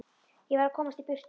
Ég varð að komast í burtu.